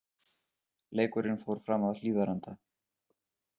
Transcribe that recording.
Leikurinn fór fram að Hlíðarenda.